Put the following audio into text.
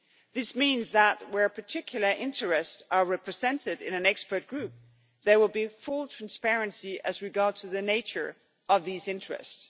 This means that where particular interests are represented in an expert group there will be full transparency as regards the nature of these interests.